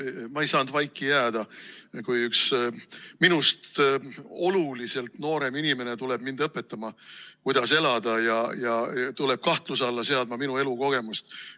Ma ei saa vaiki jääda, kui üks minust oluliselt noorem inimene tuleb mind õpetama, kuidas elada, ja tuleb kahtluse alla seadma minu elukogemust.